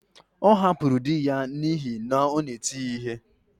Ọ hapụrụ di ya n’ihi na ọ na-eti ya ihe